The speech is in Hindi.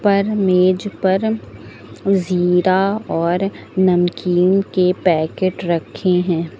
पर मेज पर जीरा और नमकीन के पैकेट रखे हैं।